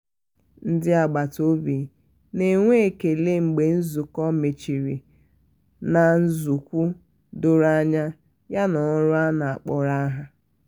ndị agbata obi na-enwe ekele mgbe nzukọ mechiri na nzọụkwu doro anya yana ọrụ a kpọrọ aha.